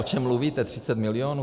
O čem mluvíte - 30 milionů?